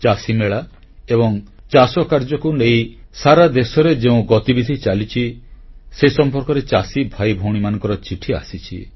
ଚାଷୀମେଳା ଏବଂ ଚାଷକାର୍ଯ୍ୟକୁ ନେଇ ସାରା ଦେଶରେ ଯେଉଁ ଗତିବିଧି ଚାଲିଛି ସେ ସମ୍ପର୍କରେ ଚାଷୀ ଭାଇ ଭଉଣୀମାନଙ୍କର ଚିଠି ଆସିଛି